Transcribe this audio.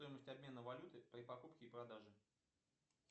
стоимость обмена валюты при покупке и продаже